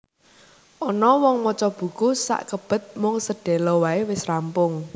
Ana wong maca buku sakebet mung sedhela wae wis rampung